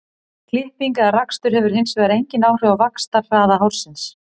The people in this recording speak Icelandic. klipping eða rakstur hefur hins vegar engin áhrif á vaxtarhraða hársins